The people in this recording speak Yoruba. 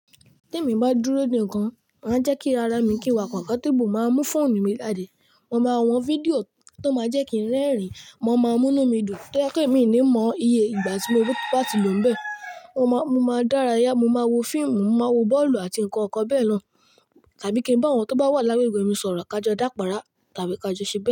Tí èmi bá dúró nìkan, màá jẹ́ kí ara mi kí wà kọ̀nfọ́tébù máa mú fóònù mi ládè. Mo máa wo fídíò tó máa jẹ́ kí n rẹ́rìn-ín, mo máa mú múnú midùn tó jẹ́ pé èmi ní mọ iye ìgbà tí mo wí pé a ti lòún bẹ́ẹ̀. Mo máa dárayá, mo máa wo fíìmù, mo máa wo bọ́ọ̀lù àti nǹkan ǹkan bẹ́ẹ̀ lọ, tàbí kí n bá àwọn tó bá wà lágbègbè mi sọ̀rọ̀ ká jọ dá pàrá tàbí ká jọ ṣẹ bẹ́ẹ̀